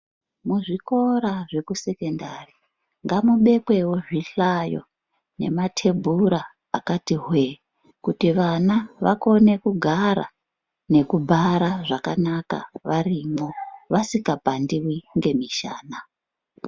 Muzvikora zvekusekendari ngamubekwewo zvihlayo namtebhura akati hwe kuti vana vakone kugara nekubhara zvakanaka varimwo vasingapandiwi ngemushana.